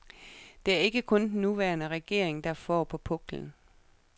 Det er ikke kun den nuværende regering, der får på puklen.